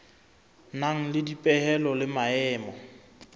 nang le dipehelo le maemo